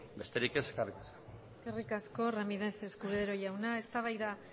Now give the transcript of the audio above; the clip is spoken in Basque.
besterik ez eskerrik asko eskerrik asko ramírez escudero jauna eztabaida